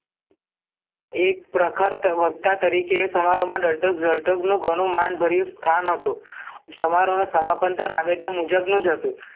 એક પ્રખર તવરતા તરીકે એ સમારોમાં દાલતક જળતરનું ઘણુંય માન ભર્યું સ્થાન હતું સમાહરોના સમાપન્ત રાબેતા મુજબનું જ હતું